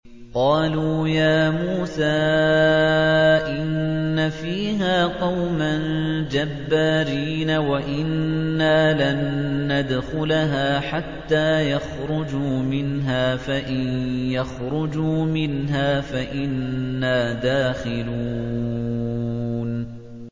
قَالُوا يَا مُوسَىٰ إِنَّ فِيهَا قَوْمًا جَبَّارِينَ وَإِنَّا لَن نَّدْخُلَهَا حَتَّىٰ يَخْرُجُوا مِنْهَا فَإِن يَخْرُجُوا مِنْهَا فَإِنَّا دَاخِلُونَ